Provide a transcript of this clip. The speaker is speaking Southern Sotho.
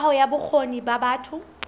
kaho ya bokgoni ba batho